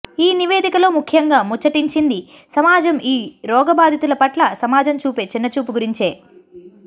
ఈ నివేదికలో ముఖ్యంగా ముచ్చటించింది సమాజం ఈ రోగబాధితుల పట్ల సమాజం చూపే చిన్నచూపు గురించే